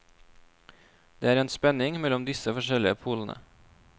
Det er en spenning mellom disse forskjellige polene.